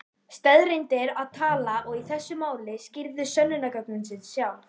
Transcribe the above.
Staðreyndir tala og í þessu máli skýrðu sönnunargögnin sig sjálf.